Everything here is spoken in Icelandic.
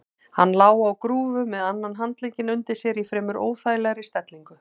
Hann lá á grúfu með annan handlegginn undir sér í fremur óþægilegri stellingu.